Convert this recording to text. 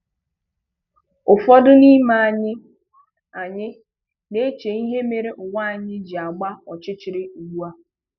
Ụ́fọdụ n’ime anyị anyị na-eche ihe mere ụwa anyị ji agba ọchịchịrị ugbu a